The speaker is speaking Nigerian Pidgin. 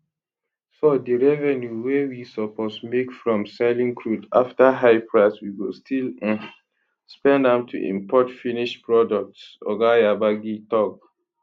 so di revenue wey we suppose make from selling crude at high price we go still um spend am to import finished products oga yabagi tok